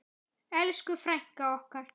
Elsku frænka okkar.